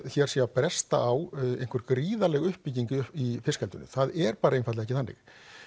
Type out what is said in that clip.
hér sé að bresta á einhver gríðarleg uppbygging í fiskeldinu en það er bara einfaldlega ekki þannig